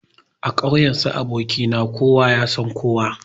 A ƙauyen su aboki na kowa yasan kowa.